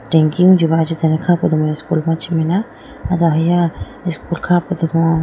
Tanki wuji ma ajitene kha po domo school machi mai na ay do ahiya school kha po domo.